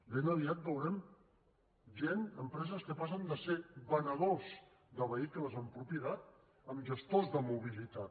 ben aviat veurem gent empreses que passen de ser venedors de vehicles amb propietat a gestors de mobilitat